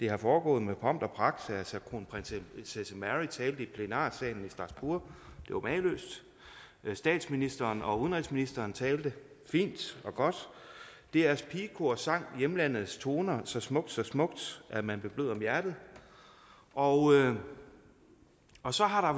er foregået med pomp og pragt altså kronprinsesse mary talte i plenarsalen i strasbourg det var mageløst statsministeren og udenrigsministeren talte fint og godt drs pigekor sang hjemlandets toner så smukt så smukt at man blev blød om hjertet og og så har